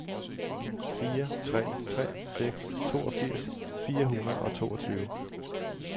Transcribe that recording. fire tre tre seks toogfirs fire hundrede og toogtyve